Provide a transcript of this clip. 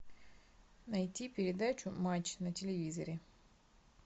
найти передачу матч на телевизоре